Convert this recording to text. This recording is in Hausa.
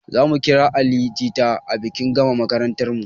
Zamu kira ali jita a bikin gama makarantarmu